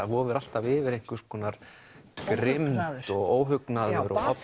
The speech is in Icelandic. vofir alltaf yfir einhvers konar grimmd og óhugnaður